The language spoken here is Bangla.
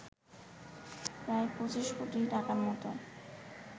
প্রায় ২৫ কোটি টাকার মত